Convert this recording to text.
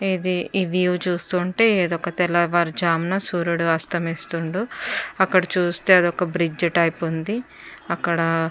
ఇది ఇవి చూస్తుంటే ఇది ఒక తెలవారు జామున సుర్యుడు అస్తమిస్తుండు అక్కడ చుస్తే అది ఒక బ్రిడ్జ్ టైప్ వుంది. అక్కడ --